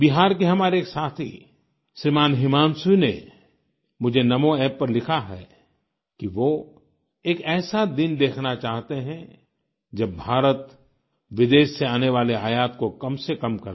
बिहार के हमारे एक साथी श्रीमान् हिमांशु ने मुझे NaMoApp पर लिखा है कि वो एक ऐसा दिन देखना चाहते हैं जब भारत विदेश से आने वाले आयात को कम से कम कर दे